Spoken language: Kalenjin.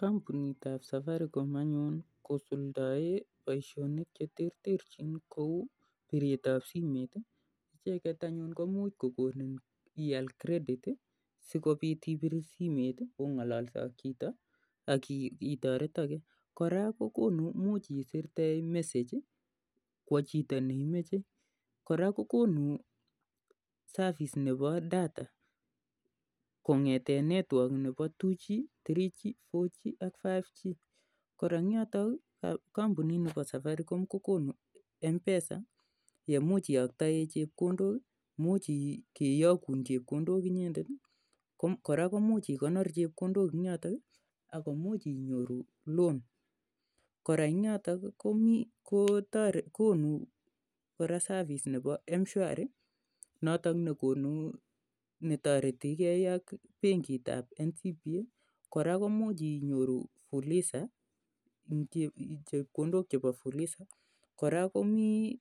Kampunitap Safaricom anyun kosuldaen poishonik che terterchin kou piret ap simet. Icheget anyun ko much kokonin ial simet si kopit ong'alalse ak chito ak itaretage. Kora ko konu, imuch isirte message kowa chito ne imache. Kora kokonu service ne po data. Kong'ete network nepo 3g, 4g ak 5g. Kora eng' yotok kampunit ne po Safaricom ko konu mpesa ne imuch iyaktae chepkondok i, imuch keyakun chepkondok inyendet i, kora ko much i konor chepkondok en yotok i, ako nuch inyoru loan. Kora en yotok i, ko konu kora service nepo mshwari notok ne tareti gei ak penkit ap NCBA. Kora komuch inyoru fuliza ,chepkondok che pa fuliza. Kora komi